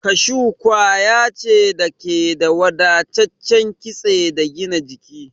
Kashu kwaya ce da ke da wadataccen kitse da gina jiki.